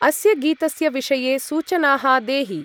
अस्य गीतस्य विषये सूचनाः देहि।